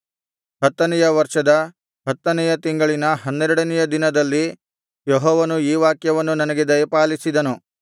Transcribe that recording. ಹತ್ತನೆಯ ವರ್ಷದ ಹತ್ತನೆಯ ತಿಂಗಳಿನ ಹನ್ನೆರಡನೆಯ ದಿನದಲ್ಲಿ ಯೆಹೋವನು ಈ ವಾಕ್ಯವನ್ನು ನನಗೆ ದಯಪಾಲಿಸಿದನು